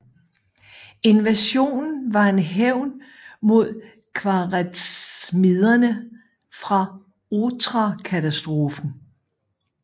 Invasionen var en hævn mod khwarezmiderne for Otrarkatastrofen